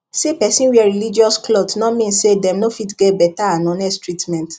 say person wear religious cloth no mean say dem no fit get better and honest treatment